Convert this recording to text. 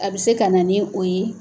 A bɛ se ka na ni o ye.